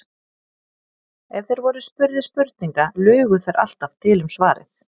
Ef þeir voru spurðir spurninga lugu þeir alltaf til um svarið.